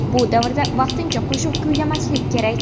Bu davrda vaqtincha qo‘shiq kuylamaslik kerak.